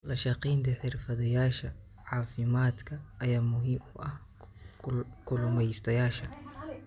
La shaqaynta xirfadlayaasha caafimaadka ayaa muhiim u ah kalumeystayasha.